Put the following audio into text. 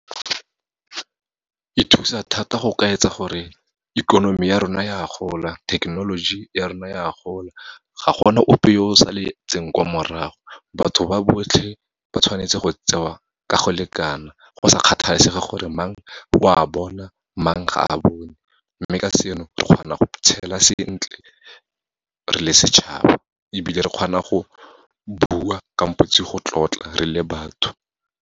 E thusa thata go ka gore ikonomi ya rona ya gola, thekenoloji ya rona ya gola, ga gona ope yo o saletseng kwa morago, batho ba botlhe ba tshwanetse go tsewa ka go lekana, go sa kgathalesege gore mang o a bona, mang ga a bone. Mme ka seno, re kgona go tshela sentle re le setšhaba, ebile re kgona go bua kampotsi go tlotla re le batho.